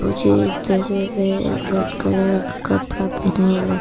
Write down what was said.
मुझे इस तस्वीर में रेड कलर का कपड़ा पहना हुआ--